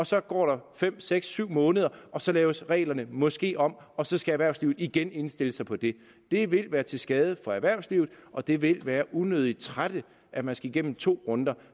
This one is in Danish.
så går der fem seks syv måneder og så laves reglerne måske om og så skal erhvervslivet igen indstille sig på det det vil være til skade for erhvervslivet og det vil være unødigt trættende at man skal igennem to runder